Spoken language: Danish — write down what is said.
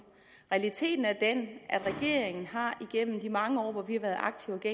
realiteten er den at regeringen igennem de mange år vi har været aktive i